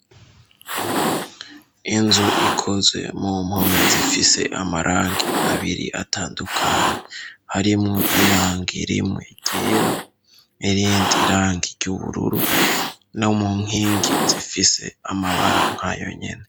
Inzu ikozwe mu mpome zifise amarangi abiri atandukanye harimwo irangi rimwe ryera n' irindi rangi ry'ubururu, no mu nkingi zifise amabara nk'ayonyene.